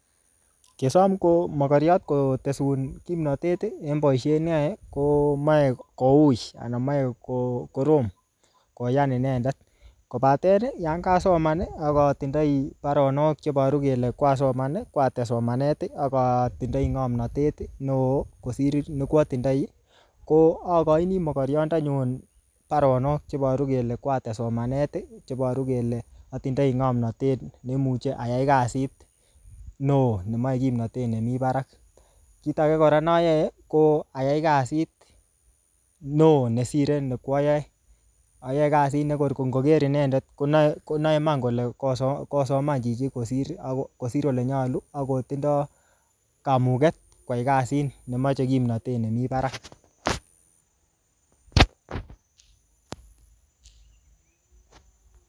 Kosom ko mogoriot kotesun kimnatet en boisiet neyoe komoe koui ana moe ko korom koyan inendet kobaten yonkasoman ak atindoi baronok chebaru kele kwates somanet ak atindoi ngomnatet neo kosir nekwatindoi ko againi mogoryondenyun baronok chebaru kele kwates somanet chebaru kele atindoi ngamnatet nemuche ayai kasit neo nemoe kimnatet nemi barak. Kit age kora noyoe ko ayai kasit neo ne sire nikwayoe. Ayae kasit ne ngor ingoker inendet konae iman kole kosomanchichi kosir ole nyalu ak kotindo kamuget koyai kasit nemoche kimnatet nemi barak.